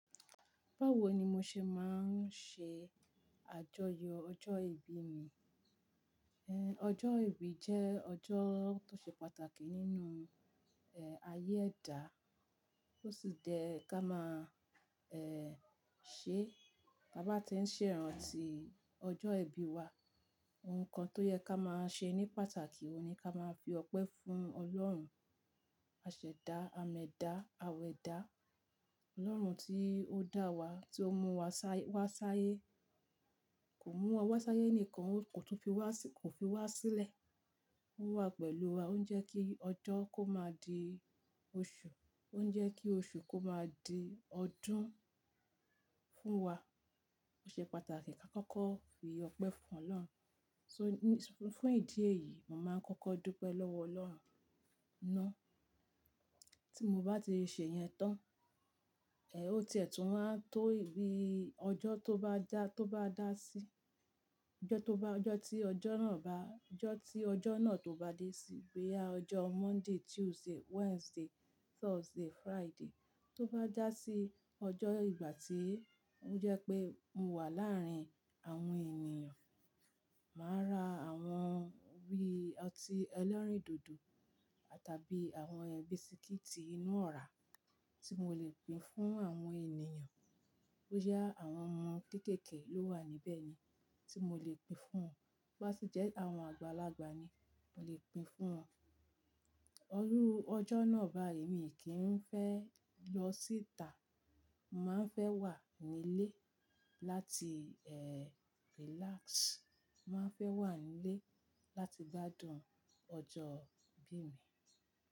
Báwo ni mo ṣe máa ń ṣe àjọyọ̀ ọjọ́ ìbí mi? Ọjọ́ ìbí jẹ́ ọjọ́ tó ṣe pàtàkì nínú ayé ẹ̀dá, ó sì jẹ́ ká máa ṣe bá tí ń ṣèràn ti ọjọ́ ìbí wa. Ohun kan tó yẹ ká máa ṣe ní pàtàkì òun ni ká máa fi ọpẹ́ fún Ọlọ́run, aseda, ameda aweda Ọlọ́run tí ó dá wa, tí ó mú wa sáyé, kó mú wa sáyé ni kan kó tun fi wá sí kó fi wá sílẹ̀. Ó wà pẹ̀lú wa, ó ń jẹ́ kí ọjọ́ kó máa di oṣù, ó ń jẹ́ kí oṣù kó máa di ọdún fún wa. Ó ṣe pàtàkì ká kọ́kọ́ fi ọpẹ́ fún Ọlọ́run. So ní-- fún ìdí èyí, màá ń kọ́kọ́ dúpẹ́ lọ́wọ Ọlọ́run ná. Tí mo bá ti ṣe yẹn tán, ó ti ẹ̀tùú wá tó bí ọjọ́ tó bá dá tó bá dá sí. Ọjọ́ tó bá ọjọ́ tí ọjọ́ náà bá, ọjọ́ tí ọjọ́ náà tó bá dé sí. Boya à ọjọ́ Monday, Tuesday, Wednesday, Thursday, Friday tó bá dá sí ọjọ́ ìgbà tí ó jẹ́ pé mo wà láàrin àwọn ènìyàn, màá ra àwọn bí ọtí ẹlẹ́rìndòdò àtàbí àwọn ẹbisikíìtì inú ọ̀rá tí mo le pín fún àwọn ènìyàn. Ó jẹ́ àwọn ohun kéékèèké ló wà níbẹ̀ ni tí mo le pín fún wọn. Bo bá sì jẹ́ àwọn àgbàlagbà ni, mo le pín fún wọn. Ọrú ọjọ́ náà báyìí mi kì í fẹ́ lọ sí ìta. Mo máa ń fẹ́ wà nílé láti relax. Mo máa ń fẹ́ wà nílé láti gbádùn ọjọ́ ìbí mi.